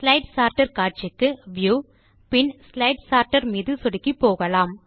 slide sorter காட்சிக்கு view பின் slide sorter மீது சொடுக்கி போகலாம்